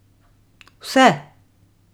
Vse!